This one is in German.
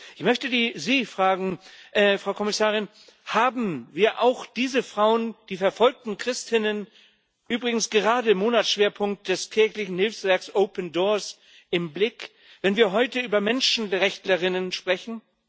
Ich möchte Sie fragen, Frau Kommissarin Haben wir auch diese Frauen, die verfolgten Christinnen, übrigens gerade im Monatsschwerpunkt des kirchlichen Hilfswerks Open Doors, im Blick, wenn wir heute über Menschenrechtlerinnen sprechen?